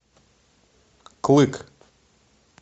клык